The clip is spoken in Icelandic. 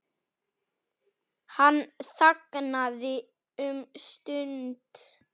Hann þagnaði um stund.